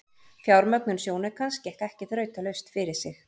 Fjármögnun sjónaukans gekk ekki þrautalaust fyrir sig.